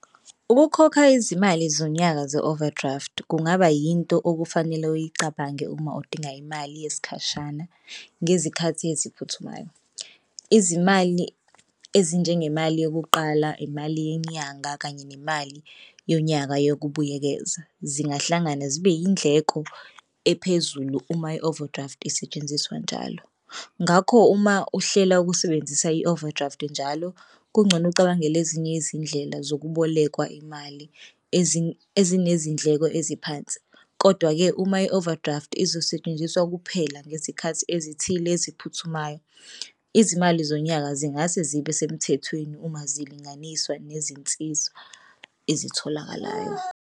Ukukhokha izimali zonyaka ze-overdraft kungaba yinto okufanele uyicabange uma udinga imali yesikhashana ngezikhathi eziphuthumayo. Izimali ezinjengemali yokuqala imali yenyanga kanye nemali yonyaka yokubuyekeza zingahlangana zibe yindleko ephezulu uma i-overdraft isetshenziswa njalo. Ngakho uma uhlela ukusebenzisa i-overdraft njalo kungcono ucabangele ezinye izindlela zokubolekwa imali ezinezindleko eziphansi. Kodwa-ke uma i-overdraft izosetshenziswa kuphela ngezikhathi ezithile eziphuthumayo izimali zonyaka zingase zibe semthethweni uma zilinganiswa nezinsizwa ezitholakalayo.